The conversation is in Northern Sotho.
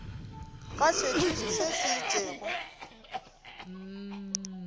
ga setšo se se itšego